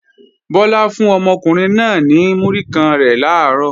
Bọ́lá fún ọmọkùnrin náà náà ní múrí kan rẹ̀ làárọ̀